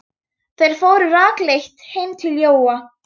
Þeir fóru rakleitt heim til Jóa.